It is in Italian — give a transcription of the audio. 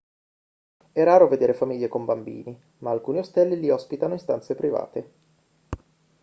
è raro vedere famiglie con bambini ma alcuni ostelli li ospitano in stanze private